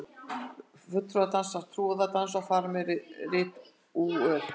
Fulltrúar dansa trúardans og fara með ritúöl.